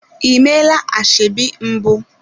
Ị meela ashebi mbụ?